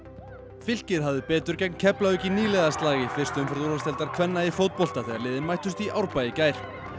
fylkir hafði betur gegn Keflavík í í fyrstu umferð úrvalsdeildar kvenna í fótbolta þegar liðin mættust í Árbæ í gær